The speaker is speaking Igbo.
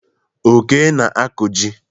Oke na-akụ ji.